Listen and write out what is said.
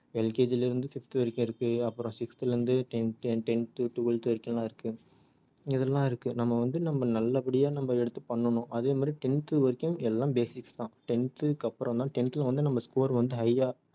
LKG ல இருந்து fifth வரைக்கும் இருக்கு அப்புறம் sixth ல இருந்து tenth tenth twelfth வரைக்கும்லாம் இருக்கு இதுல எல்லாம் இருக்கு நம்ம வந்து நம்ம நல்லபடியா நம்ம எடுத்து பண்ணனும் அதே மாதிரி tenth வரைக்கும் எல்லாம் basics தான் tenth க்கு அப்புறம் தான் tenth ல வந்து நம்ம score வந்து high ஆ